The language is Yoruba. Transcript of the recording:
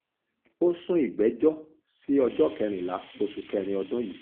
ó sún ìgbẹ́jọ́ sí ọjọ́ kẹrìnlá oṣù kẹrin ọdún yìí